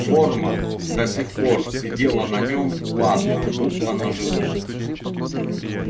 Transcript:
форма до сих пор сидела на нем ладно будто на живом